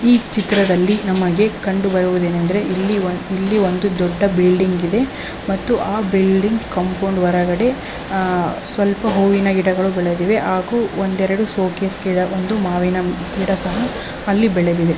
ಈ ಚಿತ್ರದಲ್ಲಿ ನಮಗೆ ಕಂಡು ಬರುವುದೇನೆಂದರೆ ಇಲ್ಲಿ ಒಂದು ದೊಡ್ಡ ಬಿಲ್ಡಿಂಗ್ ಇದೆ ಆ ಬಿಲ್ಡಿಂಗ್ ಕಾಂಪೌಂಡ್ ಹೊರಗಡೆ ಸ್ವಲ್ಪ ಹೂವಿನ ಗಿಡಗಳು ಬೆಳೆದಿವೆ ಹಾಗೂ ಒಂದೆರಡು ಶೋಕೇಶ್ ಗಿಡ ಹಾಗೂ ಮಾವಿನ ಮರ ಅಲ್ಲಿ ಬೆಳೆದಿದೆ.